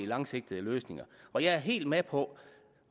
langsigtede løsninger og jeg er helt med på